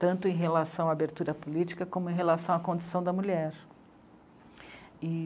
tanto em relação à abertura política, como em relação à condição da mulher. E